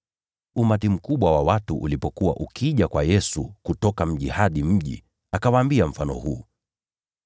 Umati mkubwa wa watu ulipokuwa ukija kwa Yesu kutoka kila mji, akawaambia mfano huu: